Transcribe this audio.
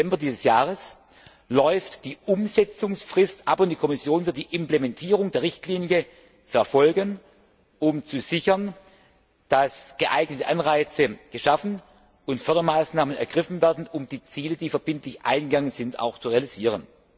5. Dezember dieses Jahres, läuft die Umsetzungsfrist ab und die Kommission wird die Implementierung der Richtlinie verfolgen, um sicherzustellen, dass geeignete Anreize geschaffen und Fördermaßnahmen ergriffen werden, um die Ziele, die verbindlich eingegangen sind, auch zu realisieren.